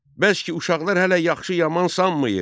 Bəs ki, uşaqlar hələ yaxşı yaman sanmayır.